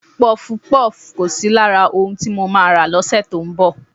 Pọfupọ́ọ̀fù kò sí lára ohun tí mo máa rà lọ́sẹ̀ tó ń bọ̀